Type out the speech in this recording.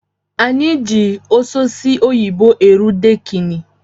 Anyi ji ososi oyibo eru dekini